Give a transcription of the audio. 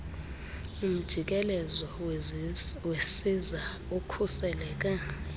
umjikelezo wesiza ukhuseleke